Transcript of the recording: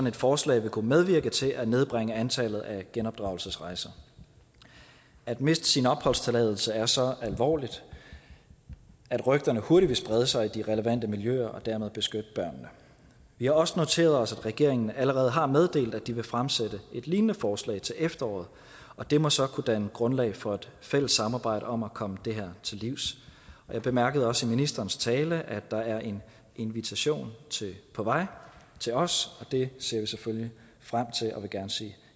et forslag vil kunne medvirke til at nedbringe antallet af genopdragelsesrejser at miste sin opholdstilladelse er så alvorligt at rygterne hurtigt vil sprede sig i de relevante miljøer og dermed beskytte børnene vi har også noteret os at regeringen allerede har meddelt at de vil fremsætte et lignende forslag til efteråret og det må så kunne danne grundlag for et fælles samarbejde om at komme det her til livs jeg bemærkede også i ministerens tale at der er en invitation på vej til os og det ser vi selvfølgelig frem til og vi vil gerne sige